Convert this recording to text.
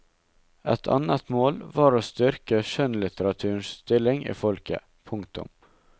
Et annet mål var å styrke skjønnlitteraturens stilling i folket. punktum